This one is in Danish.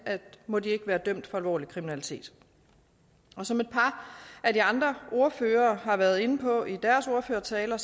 må de ikke være dømt for alvorlig kriminalitet som et par af de andre ordførere har været inde på i deres ordførertaler